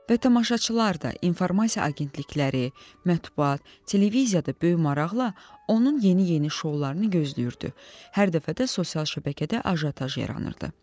Və tamaşaçılar da, informasiya agentlikləri, mətbuat, televiziyada böyük maraqla onun yeni-yeni şoularını gözləyirdi, hər dəfə də sosial şəbəkədə ajotaj yaranırdı.